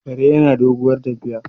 kare yana doguwar tafiya